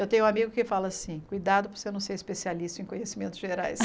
Eu tenho um amigo que fala assim, cuidado para você não ser especialista em conhecimentos gerais.